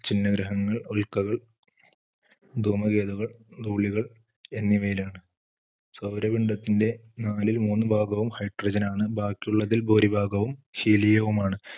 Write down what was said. ചിന്നഗ്രഹങ്ങൾ, ഉൽക്കകൾ ധൂമകേതുക്കൾ, ധൂളികൾ എന്നിവയിലാണ്. സൗരഭണ്ഡത്തിന്റെ നാലിൽ മൂന്നു ഭാഗവും hydrogen ആണ്. ബാക്കിയുള്ളതിൽ ഭൂരിഭാഗവും helium വും ആണ്.